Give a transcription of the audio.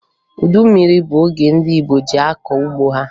Udu mmiri bụ oge ndị Igbo ji akọ ugbo ha